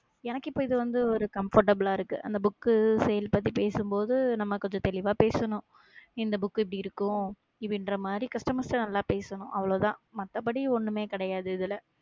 எனக்கு இப்ப இது வந்து, ஒரு comfortable ஆ இருக்கு அந்த book sale பத்தி பேசும்போது, நம்ம கொஞ்சம் தெளிவா பேசணும் இந்த book இந்த book எப்படி இருக்கும்? இவன் என்ற மாதிரி, customers ஐ நல்லா பேசணும் அவ்வளவுதான் மத்தபடி ஒண்ணுமே கிடையாது இதுல.